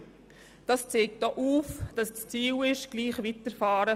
Damit wird aufgezeigt, dass das Ziel darin besteht, wie bisher weiterzufahren.